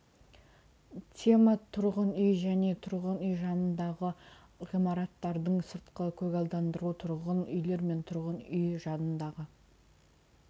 тема тұрғын үй және тұрғын үй жанындағы ғимараттардың сыртқы көгалдандыруы тұрғын үйлер мен тұрғын үй жанындағы